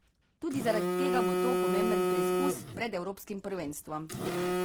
Tudi zaradi tega bo to pomemben preizkus pred evropskim prvenstvom.